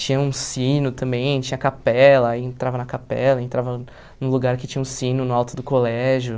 Tinha um sino também, tinha capela, aí entrava na capela, entrava no lugar que tinha um sino no alto do colégio.